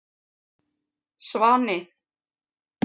Svani